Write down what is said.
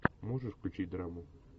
можешь включить драму